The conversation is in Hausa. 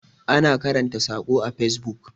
ana karanta sako a fesbuk